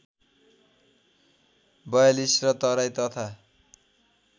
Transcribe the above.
४२ र तराई तथा